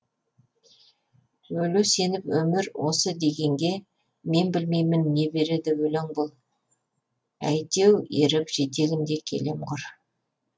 өле сеніп өмір осы дегенге мен білмеймін не береді өлең бұл әйтеу еріп жетегінде келем құр